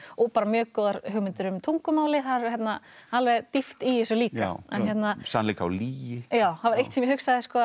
bara mjög góðar hugmyndir um tungumálið það er alveg dýpt í þessu líka sannleika og lygi það var eitt sem ég hugsaði